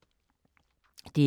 DR2